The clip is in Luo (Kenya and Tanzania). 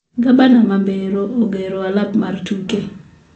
Gabna ma mbero ogero alap mar tuke